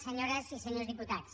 senyores i senyors diputats